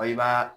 Wa i b'a